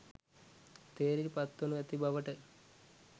තේරී පත් වනු ඇති බවට